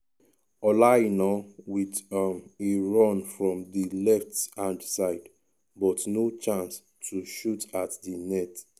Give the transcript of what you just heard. ola aina wit um a run from di left hand side but no chance to shoot at di net.